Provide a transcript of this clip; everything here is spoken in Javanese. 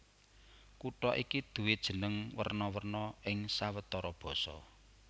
Kutha iki duwé jeneng werna werna ing sawetara basa